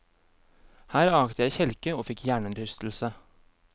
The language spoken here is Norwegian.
Her akte jeg kjelke og fikk hjernerystelse.